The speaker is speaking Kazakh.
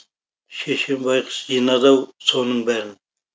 шешем байғұс жинады ау соның бәрін